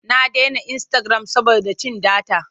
Na dena insitagiram saboda cin data.